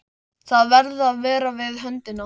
Þau verða að vera við höndina.